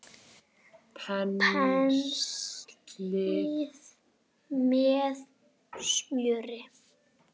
Penslið með smjöri.